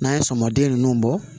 N'an ye sɔmin ninnu bɔ